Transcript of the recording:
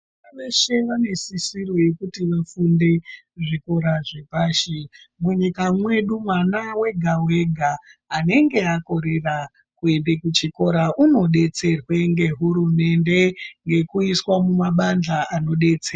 Vana veshe vane sisiro yekuti vafunde muzvikora zvepashi. Munyika mwedu mwana wega wega anenga akorera kuende kuchikora unodetserwa ngehurumende ngekuiswa mumabandhla anodetsera.